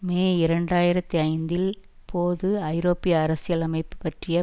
மே இரண்டு ஆயிரத்தி ஐந்தில் போது ஐரோப்பிய அரசியல் அமைப்பு பற்றிய